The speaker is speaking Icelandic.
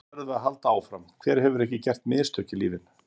Núna verðum við að halda áfram, hver hefur ekki gert mistök í lífinu?